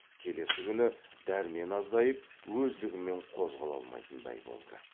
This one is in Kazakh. келесі күні дәрмен азайып өздігімен қозғала алмайтындай болды